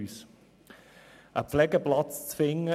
Es war extrem schwierig, einen Pflegeplatz zu finden.